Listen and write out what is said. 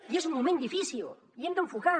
i és un moment difícil i hem d’enfocar